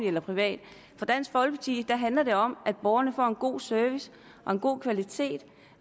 eller privat for dansk folkeparti handler det om at borgerne får en god service og en god kvalitet